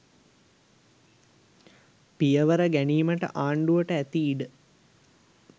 පියවර ගැනීමට ආණ්ඩුවට ඇති ඉඩ